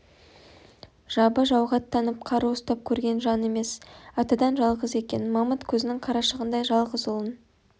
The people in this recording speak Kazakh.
жабы жауға аттанып қару ұстап көрген жан емес атадан жалғыз екен мамыт көзінің қарашығындай жалғыз ұлын